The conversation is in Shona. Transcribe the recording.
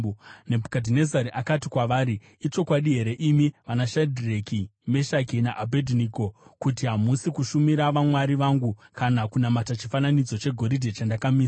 Nebhukadhinezari akati kwavari, “Ichokwadi here, imi vanaShadhireki, Meshaki naAbhedhinego, kuti hamusi kushumira vamwari vangu kana kunamata chifananidzo chegoridhe chandakamisa?